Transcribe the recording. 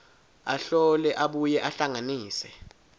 ahlole abuye ahlanganise